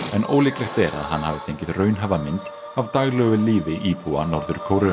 en ólíklegt er að hann hafi fengið raunhæfa mynd af daglegu lífi íbúa Norður Kóreu